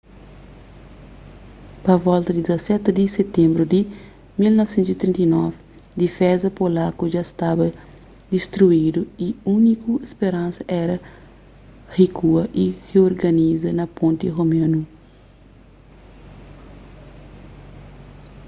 pa volta di 17 di sitenbru di 1939 difeza polaku dja staba distruidu y úniku speransa éra rikua y riorganiza na ponti romenu